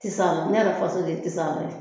Tisaala, ne yɛrɛ faso de ye Tisaala ye.